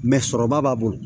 sɔrɔba b'a bolo